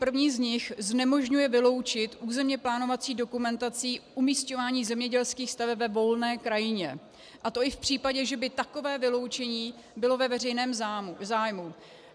První z nich znemožňuje vyloučit územně plánovací dokumentací umisťování zemědělských staveb ve volné krajině, a to i v případě, že by takové vyloučení bylo ve veřejném zájmu.